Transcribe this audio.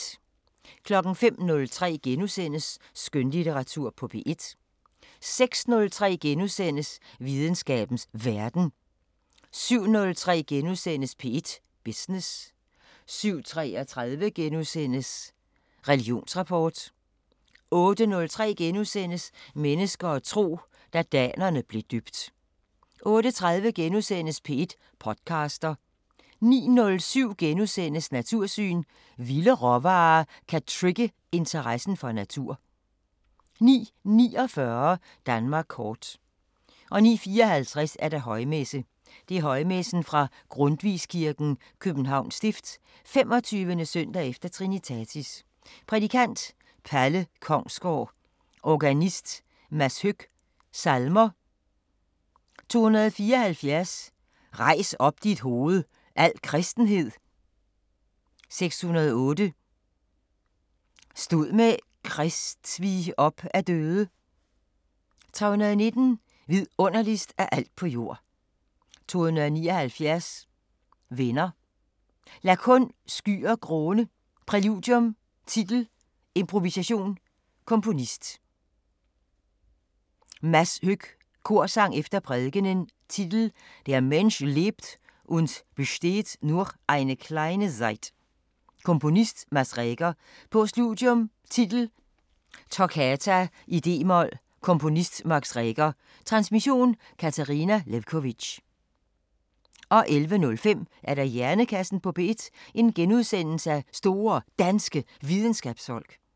05:03: Skønlitteratur på P1 * 06:03: Videnskabens Verden * 07:03: P1 Business * 07:33: Religionsrapport * 08:03: Mennesker og tro: Da danerne blev døbt * 08:30: P1 podcaster * 09:07: Natursyn: Vilde råvarer kan trigge interessen for natur * 09:49: Danmark kort 09:54: Højmesse - Højmessen fra Grundtvigskirken, Københavns Stift, 25. s. efter trinitatis Prædikant: Palle Kongsgaard Organist: Mads Høck Salmer: 274: Rejs op dit hoved, al kristenhed 608: Stod med Krist vi op af døde 319: Vidunderligst af alt på jord 279: Venner Lad kun skyer gråne Præludium Titel: Improvisation Komponist: Mads Høck Korsang efter prædikenen: Titel: "Der Mensch lebt und bestehet nur eine kleine Zeit" Komponist: Max Reger Postludium: Titel: Toccata i d-mol Komponist: Max Reger Transmission: Katarina Lewkovitch 11:05: Hjernekassen på P1: Store Danske Videnskabsfolk *